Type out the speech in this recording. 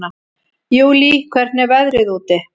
Júlí, hvernig er veðrið úti?